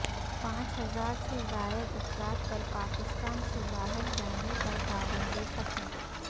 پانچ ہزار سے زائد افراد پر پاکستان سے باہر جانے پر پابندی ختم